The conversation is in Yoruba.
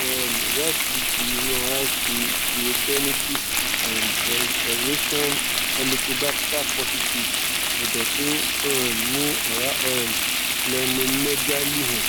um ìwádìí ti inu ara fi duodenitis and erosion helicobacter positive edo to um ni ora um splenomegaly han